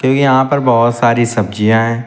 यहां पर बहुत सारी सब्जियां है।